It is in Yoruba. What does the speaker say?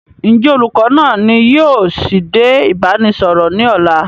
Ǹ jẹ́ olùkọ́ náa ni yìí ó sì dé ìbánisọọ̀rọ̀ ni ọ̀la?